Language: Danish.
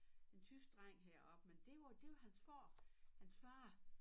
En tysk dreng herop men det var det var hans far hans far